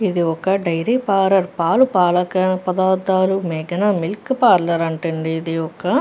ఇది ఒక డైరీ పాలు-పాల పదార్దాలు మేఘన పార్లోర్ అంట అంది ఏది ఒక.